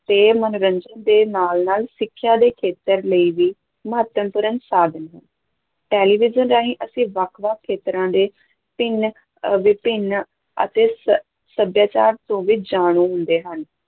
ਤੇ ਮਨੋਰੰਜਨ ਦੇ ਨਾਲ-ਨਾਲ ਸਿੱਖਿਆ ਦੇ ਖੇਤਰ ਲਈ ਵੀ ਮਹੱਤਵਪੂਰਨ ਸਾਧਨ ਹੈ, ਟੈਲੀਵਿਜ਼ਨ ਰਾਹੀਂ ਅਸੀਂ ਵੱਖ-ਵੱਖ ਖੇਤਰਾਂ ਦੇ ਭਿੰਨ ਅਹ ਵਿਭਿੰਨ ਅਤੇ ਸ ਸੱਭਿਆਚਾਰ ਤੋਂ ਵੀ ਜਾਣੂ ਹੁੰਦੇ ਹਾਂ।